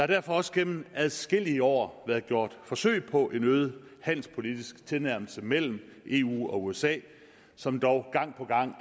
derfor også gennem adskillige år været gjort forsøg på en øget handelspolitisk tilnærmelse mellem eu og usa som dog gang på gang